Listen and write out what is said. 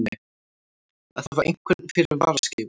Að hafa einhvern fyrir varaskeifu